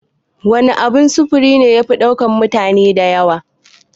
Wan abun sufuri ne yafi ɗaukan mutane da yawa?